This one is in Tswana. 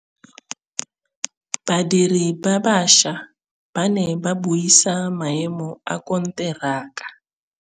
Badiri ba baša ba ne ba buisa maêmô a konteraka.